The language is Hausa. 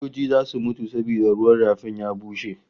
Kadoji zasu mutu saboda ruwan rafin ya bushe